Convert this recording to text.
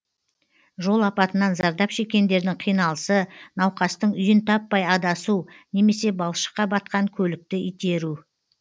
жол апатынан зардап шеккендердің қиналысы науқастың үйін таппай адасу немсе балшыққа батқан көлікті итеру